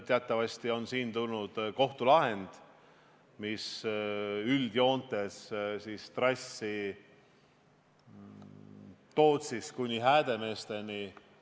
Teatavasti on tulnud kohtulahend, mis puudutab üldjoontes trassi Tootsist kuni Häädemeesteni.